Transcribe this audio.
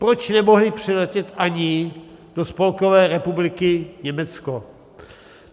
Proč nemohli přiletět ani do Spolkové republiky Německo?